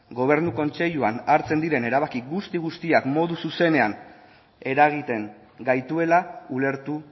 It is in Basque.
gobernu kontseiluan hartzen diren erabaki guzti guztiak modu zuzenean eragiten gaituela ulertu